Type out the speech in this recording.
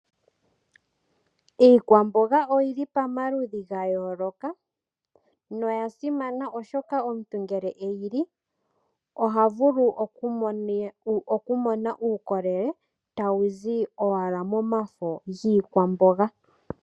Iikwamboga oyili pamaludhi gayooloka na oyasimana oshoka omuntu ngele eyili ohavulu okumona uukolele tawuzi owala momafo giikwamboga.